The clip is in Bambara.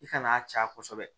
I ka n'a ca kosɛbɛ